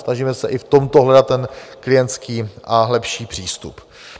Snažíme se i v tomto hledat ten klientský a lepší přístup.